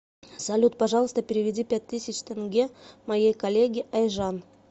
салют пожалуйста переведи пять тысяч тенге моей коллеге айжан